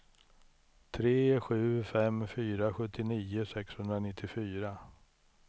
tre sju fem fyra sjuttionio sexhundranittiofyra